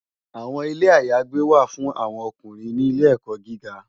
Awòn Ilé àyágbé wá fún áwòn òkúnrín ni ilé èkò gìgá